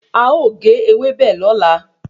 A ọ ge ewébẹ̀ lọ́la